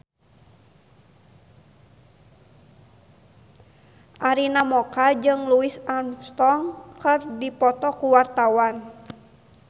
Arina Mocca jeung Louis Armstrong keur dipoto ku wartawan